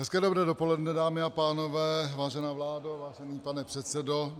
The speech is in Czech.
Hezké dobré dopoledne, dámy a pánové, vážená vládo, vážený pane předsedo.